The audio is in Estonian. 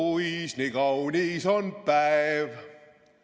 Oo, kuis nii kaunis on päev!